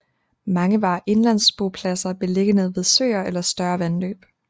Mange var indlandsbopladser beliggende ved søer eller større vandløb